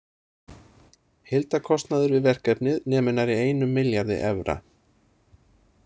Heildarkostnaður við verkefnið nemur nærri einum milljarði evra.